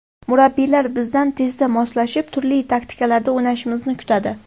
Murabbiylar bizdan tezda moslashib, turli taktikalarda o‘ynashimizni kutadi.